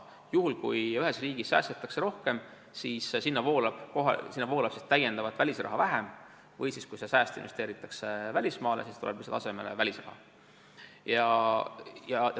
Juhul, kui ühes riigis säästetakse rohkem, siis sinna voolab täiendavat välisraha vähem, või kui sääst investeeritakse välismaale, siis tuleb lihtsalt välisraha asemele.